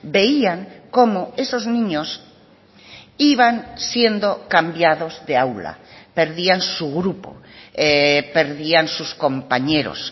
veían como esos niños iban siendo cambiados de aula perdían su grupo perdían sus compañeros